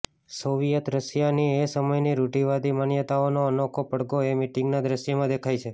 Soviet રશિયાની એ સમયની રૂઢીવાદી માન્યતાઓનો અનોખો પડઘો એ મિટીંગના દ્રશ્યમાં દેખાય છે